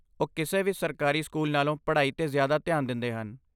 ਉਹ ਕਿਸੇ ਵੀ ਸਰਕਾਰੀ ਸਕੂਲ ਨਾਲੋਂ ਪੜ੍ਹਾਈ 'ਤੇ ਜ਼ਿਆਦਾ ਧਿਆਨ ਦਿੰਦੇ ਹਨ।